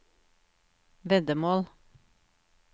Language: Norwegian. veddemål